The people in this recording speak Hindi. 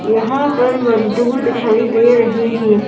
पर मजदूर दिखाई दे रहे हैं।